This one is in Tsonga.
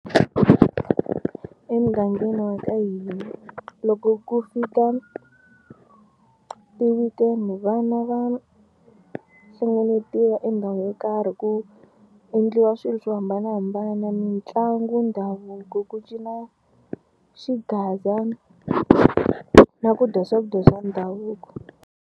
Emugangeni wa ka hina loko ku fika ti-weekend vana va hlengeletiwa endhawini yo karhi ku endliwa swilo swo hambanahambana mitlangu, ndhavuko, ku cina xigaza na ku dya swakudya swa ndhavuko.